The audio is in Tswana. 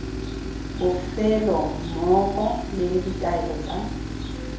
bofelo mmogo le ditaelo tsa